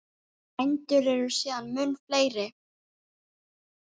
Bændur eru síðan mun fleiri.